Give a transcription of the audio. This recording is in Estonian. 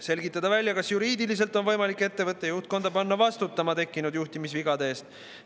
Selgitada välja, kas juriidiliselt on võimalik ettevõtte juhtkonda panna vastutama tekkinud juhtimisvigade eest.